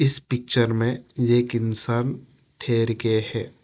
इस पिक्चर में एक इंसान ठहर के है।